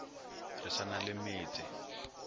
re sa na le metse